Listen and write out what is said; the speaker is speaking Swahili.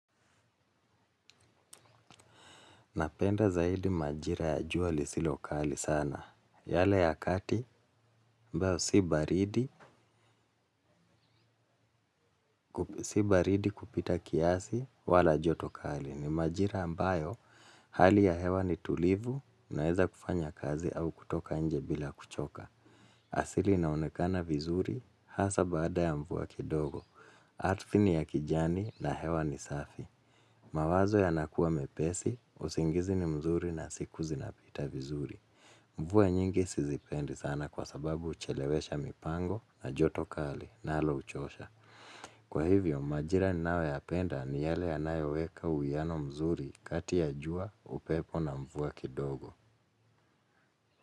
Napenda zaidi majira ya jua lisilokali sana. Yale ya kati mbao si baridi kupita kiasi wala jotokali. Ni majira ambayo hali ya hewa ni tulivu na heza kufanya kazi au kutoka nje bila kuchoka. Asili naonikena vizuri hasa baada ya mvuwa kidogo, atfini ya kijani na hewa nisafi. Mawazo ya nakuwa mepesi, usingizi ni mzuri na siku zinapita vizuri. Mvuwa nyingi sizipendi sana kwa sababu uchelewesha mipango na jotokali na nalo uchosha. Kwa hivyo majira ninawo yapenda ni yale anayoweka uiano mzuri kati ya jua upepo na mvuwa kidogo.